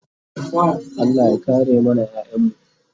Allah ya kare mana ƴaƴanmu